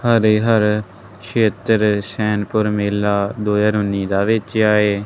ਹਰੇ ਹਰ ਛੇਤਰ ਸ਼ੈਨਪੁਰ ਮੇਲਾ ਦੋ ਹਜਾਰ ਉੱਨੀ ਦਾ ਵੇਚਿਆ ਏ।